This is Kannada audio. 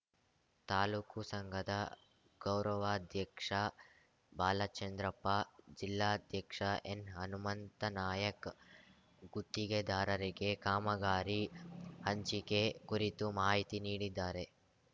ತಾಲೂಕುಸಂಘದ ಗೌರವಾಧ್ಯಕ್ಷ ಬಾಲಚಂದ್ರಪ್ಪ ಜಿಲ್ಲಾಧ್ಯಕ್ಷ ಎನ್‌ಹನುಮಂತನಾಯಕ್ ಗುತ್ತಿಗೆದಾರರಿಗೆ ಕಾಮಗಾರಿ ಹಂಚಿಕೆ ಕುರಿತು ಮಾಹಿತಿ ನೀಡಿದ್ದಾರೆ